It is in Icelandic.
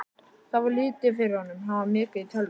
Það fór lítið fyrir honum, hann var mikið í tölvum.